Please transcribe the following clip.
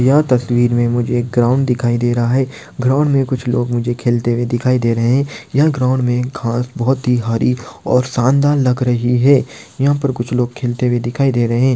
यह तस्वीर मे मुझे एक ग्राउंड दिखाई दे रहा है। . ग्राउंड मे कुछ लोग मुझे खेलते हुए दिखाई रहे यह ग्राउंड मे घास बहुत ही हरी और शानदार लग रही है। यह पर कुछ लोग खेलते हुए दिखाई दे रहे।